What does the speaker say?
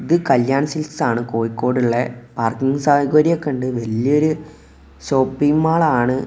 ഇത് കല്യാൺ സിൽക്സ് ആണ് കോയിക്കോട്ളെള പാർക്കിംഗ് സൗകര്യം ഒക്കെയുണ്ട് വല്ല്യോരു ഷോപ്പിംഗ് മാൾ ആണ്.